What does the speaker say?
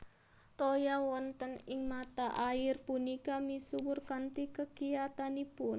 Toya wonten ing mata air punika misuwur kanthi kekiyatanipun